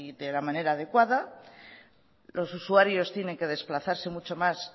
de la manera adecuada los usuarios tienen que desplazarse mucho más